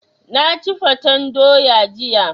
Na ci fatan doya jiya.